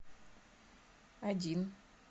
один